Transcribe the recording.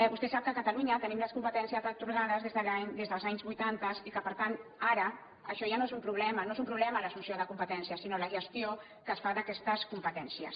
vostè sap que a catalunya tenim les competències atorgades des dels anys vuitanta i que per tant ara això ja no és un problema no és un problema l’assumpció de competències sinó la gestió que es fa d’aquestes competències